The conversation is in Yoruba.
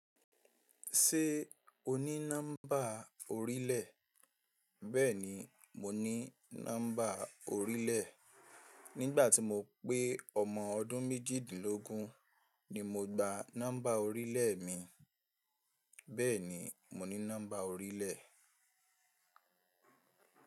Ṣé o ní nọ́mbà orílẹ̀? Bẹ́ẹ̀ni, mo ní nọ́mbà orílẹ̀. Nígbà tí mo pé ọmọ ọdún méjìdínlógún ni mo gba nọ́mbà orílẹ̀ mi. Bẹ́ẹ̀ni, mo ní nọ́mbà orílẹ̀